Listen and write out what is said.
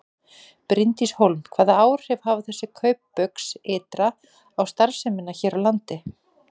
Bryndís Hólm: Hvaða áhrif hafa þessi kaup Baugs ytra á starfsemina hér á landi?